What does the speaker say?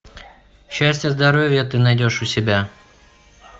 счастья здоровья ты найдешь у себя